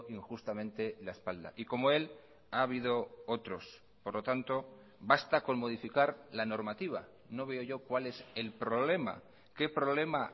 injustamente la espalda y como él ha habido otros por lo tanto basta con modificar la normativa no veo yo cuál es el problema qué problema